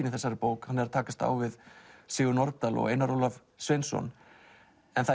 í þessari bók hann er að takast á við Sigurð Nordal og Einar Ólaf Sveinsson en það